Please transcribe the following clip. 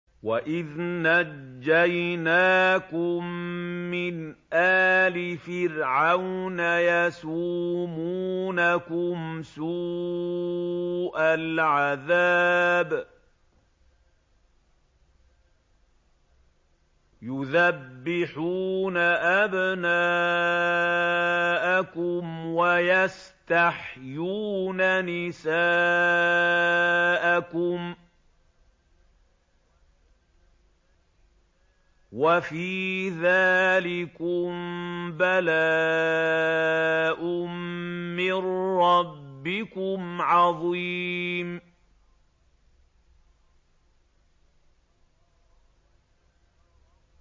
وَإِذْ نَجَّيْنَاكُم مِّنْ آلِ فِرْعَوْنَ يَسُومُونَكُمْ سُوءَ الْعَذَابِ يُذَبِّحُونَ أَبْنَاءَكُمْ وَيَسْتَحْيُونَ نِسَاءَكُمْ ۚ وَفِي ذَٰلِكُم بَلَاءٌ مِّن رَّبِّكُمْ عَظِيمٌ